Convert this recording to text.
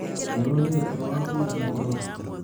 Nĩũronire toro wa kũigana ira ũtukũ?